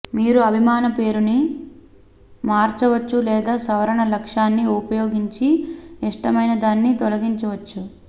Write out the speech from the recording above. మీరు అభిమాన పేరుని మార్చవచ్చు లేదా సవరణ లక్షణాన్ని ఉపయోగించి ఇష్టమైన దాన్ని తొలగించవచ్చు